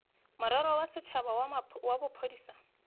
morero wa setšhaba wa bophodisa